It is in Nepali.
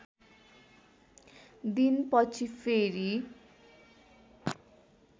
दिन पछि फेरी